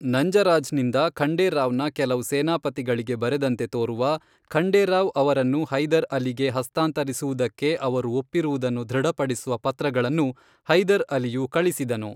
ನಂಜರಾಜ್ ನಿಂದ ಖಂಡೇರಾವ್ ನ ಕೆಲವು ಸೇನಾಪತಿಗಳಿಗೆ ಬರೆದಂತೆ ತೋರುವ, ಖಂಡೇರಾವ್ ಅವರನ್ನು ಹೈದರ್ ಅಲಿಗೆ ಹಸ್ತಾಂತರಿಸುವುದಕ್ಕೆ ಅವರು ಒಪ್ಪಿರುವುದನ್ನು ದೃಢಪಡಿಸುವ ಪತ್ರಗಳನ್ನು ಹೈದರ್ ಅಲಿಯು ಕಳಿಸಿದನು.